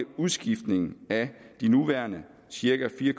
udskiftning af de nuværende cirka fire